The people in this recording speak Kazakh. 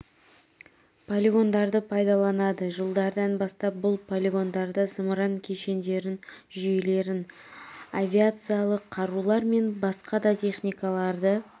полигондарды пайдаланады жылдардан бастап бұл полигондарда зымыран кешендерін жүйелерін авиациялық қарулар мен басқа да техникаларды